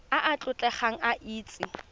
a a tlotlegang a itse